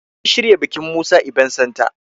An shirya bikin Musa ibent Santa